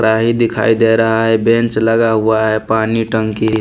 कड़ाही दिखाई दे रहा है बेंच लगा हुआ है पानी टंकी --